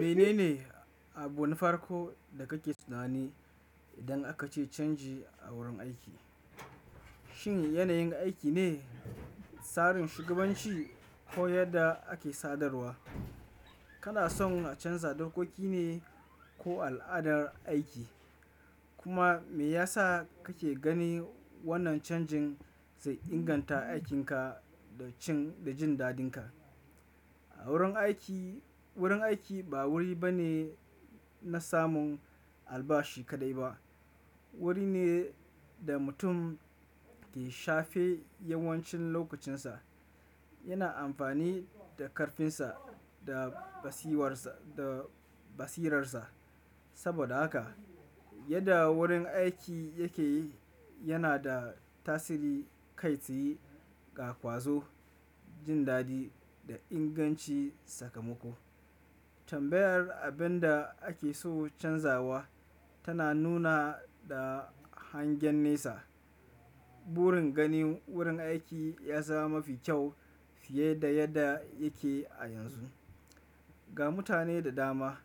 Mene ne abu na farko da kake tunani idan aka ce canji a wurin aiki? Shin yanayin aiki ne, tsarin shugabanci ko yadda ake sadarwa? Kana son a canza dokoki ne ko al'adar aiki? Kuma me yasa kake gani wannan canjin zai inganta aikinka da cin da jin dadinka? A wurin aiki wurin aiki ba wuri bane na samun albashi kaɗai ba. Wuri ne da mutum ke shafe yawancin lokucinsa. Yana amfani da karfinsa da basiwarsa, da basirarsa. Saboda haka, yadda wurin aiki yake yana da tasiri kai tsaye ga ƙwazo, jin daɗi da inganci sakamako. Tambayar abin da ake so canzawa tana nuna da hangen nesa. Burin ganin wurin aiki ya zama mafi kyau fiye da yadda yake a yanzu. Ga mutane da dama,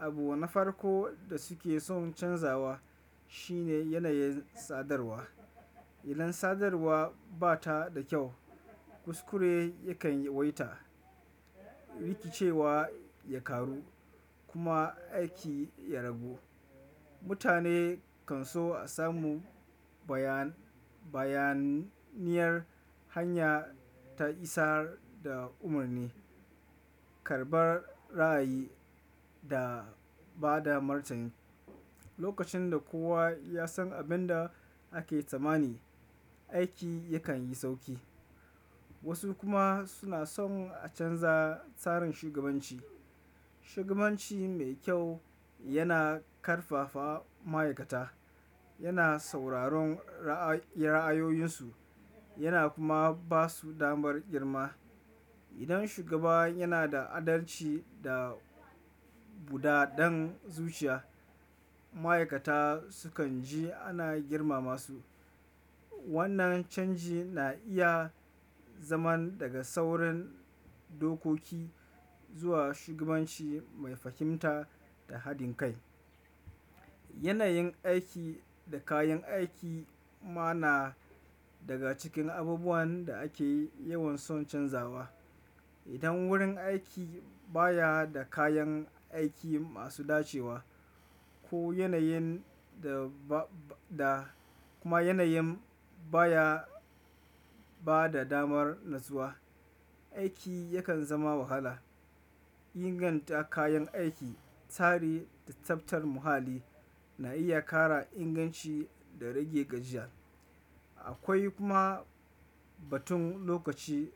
abu na farko da suke son canzawa shine yanayin sadarwa. Idan sadarwa ba ta da kyau, kuskure yakan yi waita, riki cewa ya karu kuma aiki ya ragu. Mutane kan so a samu bayan, bayaniyar hanya ta isar da umarni, karɓar ra'ayi da ba da martani. Lokacin da kowa ya san abin da ake tsammani, aiki yakan yi sauki. Wasu kuma suna son a canza tsarin shugabanci. Shugabanci mai kyau yana ƙarfafa ma'aikata, yana sauraron ra'ayoyinsu yana kuma ba su damar girma. Idan shugaba yana da adalci da buɗaɗɗen zuciya, ma'aikata sukan ji ana girmama su. Wannan canji na iya zaman daga sauran dokoki zuwa shugabanci mai fahimta da haɗin kai. Yanayin aiki da kayan aiki ma na daga cikin abubuwan da ake yawan son canzawa. Idan wurin aiki baya da kayan aiki masu dacewa ko yanayin da ba da kuma yanayin baya ba da damar natsuwa, aiki yakan zama wahala. Inganta kayan aiki, tsari da tsaftar muhalli na iya ƙara inganci da rage gajiya. Akwai kuma batun lokaci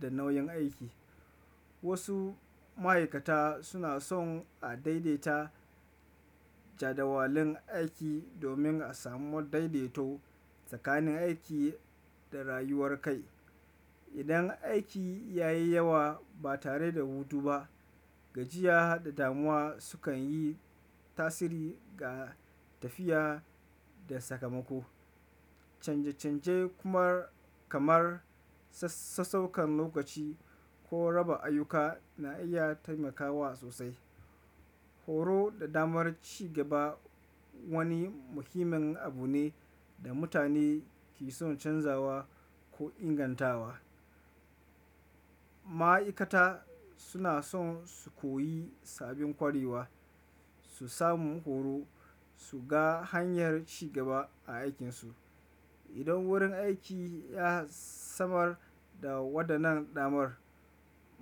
da nauyin aiki. Wasu ma'aikata suna son a daidaita jadawalin aiki domin a samu daidaito tsakanin aiki da rayuwar kai. Idan aiki ya yi yawa ba tare da hutu ba, gajiya da damuwa sukan yi tasiri ga tafiya da sakamako. Canje canje kamar, kamar sassaukar lokaci ko raba ayyuka na iya taimakawa sosai. Horo da damar ci gaba wani muhimmin abu ne da mutane ke son canzawa ko ingantawa. Ma'aikata suna son su koyi sabbin ƙwarewa, su samu horo, su ga hanyar ci gaba a aikinsu. Idan wurin aiki ya samar da waɗannan damar,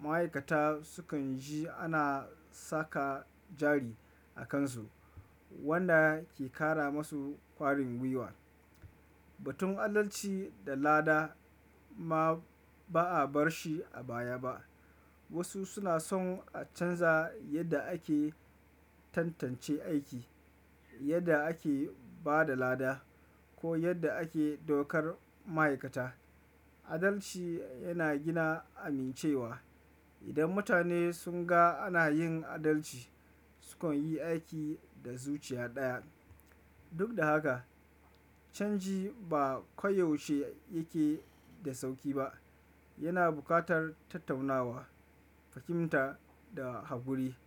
ma'aikata sukan ji ana saka jari a kansu wanda ke ƙara masu ƙwarin gwiwa. Batun adalci da lada ma ba'a bar shi a baya ba. Wasu suna son a canza yadda ake tantance aiki, yadda ake ba da lada ko yadda ake daukar ma'aikata. Adalci yana gina amincewa. Idan mutane sun ga ana yin adalci, sukan yi aiki da zuciya ɗaya. Duk da haka, canji ba koyaushe yake da sauƙi ba. Yana buƙatar tattaunawa, fahimta da haƙuri.